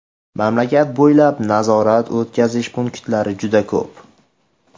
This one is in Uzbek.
Mamlakat bo‘ylab nazorat-o‘tkazish punktlari juda ko‘p.